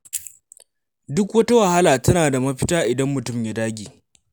Duk wata wahala tana da mafita idan mutum ya dage.